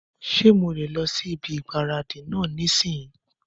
Ṣé mo lè lọ sí ibi ìgbáradì náà nísìínyi?